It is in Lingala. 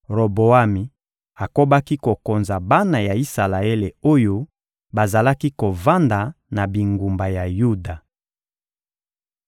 Roboami akobaki kokonza bana ya Isalaele oyo bazalaki kovanda na bingumba ya Yuda.